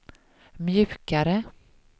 mjukare